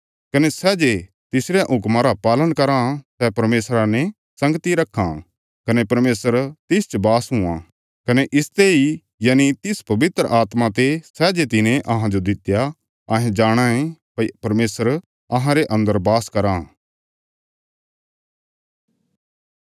कने सै जे तिसरयां हुक्मां रा पालन कराँ सै परमेशरा ने संगती रखां कने परमेशर तिसच बास हुआं कने इसते इ यनि तिस पवित्र आत्मा ते सै जे तिने अहांजो दित्या अहें जाणाँ ये भई परमेशर अहांरे अन्दर बास कराँ